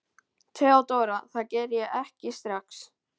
THEODÓRA: Það geri ég ekki strax.